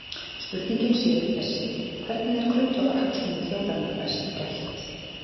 Spurningin sé því þessi: Hvernig er grundvallarhagsmunum þjóðarinnar best gætt?